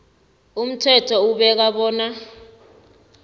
umthetho ubeka bona